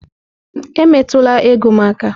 Emetụla ego m aka!